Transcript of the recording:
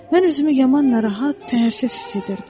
Mən özümü yaman narahat, təərsiz hiss edirdim.